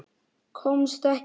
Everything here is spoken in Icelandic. Komst ekki.